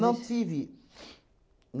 Não, não tive.